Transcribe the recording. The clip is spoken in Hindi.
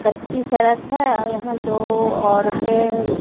कच्ची सड़क है और यहां दो औरतें--